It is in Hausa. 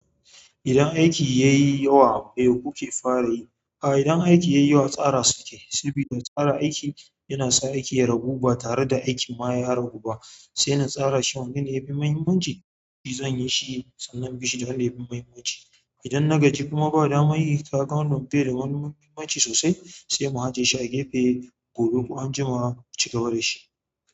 Idan aiki yayi yawa, me kuke fara yi? A'a, idan aiki yayi wa tsara suke, saboda tsara aiki yana sa aiki ya ragu ba tare da aiki ma ya ragu ba. Sai na tsara shi wanne ne ya fi muhimmanci, shi zan yi shi sannan bishi da wanda ya fi muhimmanci. Idan na gajin kuma ba damar yi, kaga bai da wani muhimmanci sosai sai mu ajiye shi a gefe gobe ko anjima mu cigaba da shi.